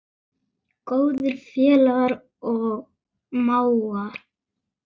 Góðir félagar og mágar.